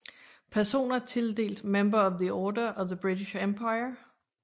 Personer tildelt Member of the Order of the British Empire